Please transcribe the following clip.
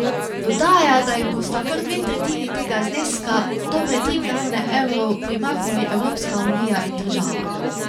Dodaja, da jim bosta kar dve tretjini tega zneska, dobre tri milijone evrov, primaknili Evropska unija in država.